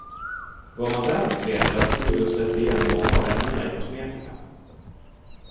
Vad man däremot vet är att huden släpper igenom många av ämnena i kosmetika.